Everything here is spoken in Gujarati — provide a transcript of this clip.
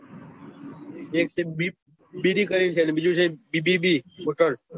એક છે બીપ ડીડી છે અને બીજું છે દીડીડી હોટેલ